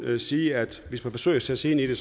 sige at hvis man vil forsøge at sætte sig ind i det